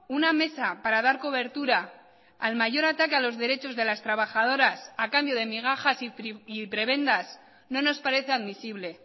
una mesa para dar cobertura al mayor ataque a los derechos de las trabajadoras a cambio de migajas y prebendas no nos parece admisible